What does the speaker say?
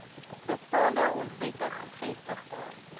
bestaande onwettig gevestigde